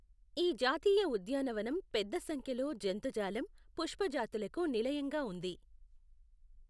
ఈ జాతీయ ఉద్యానవనం పెద్ద సంఖ్యలో జంతుజాలం, పుష్ప జాతులకు నిలయంగా ఉంది.